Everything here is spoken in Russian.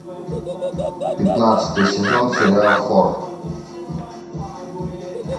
пятнадцатый сезон сериал хор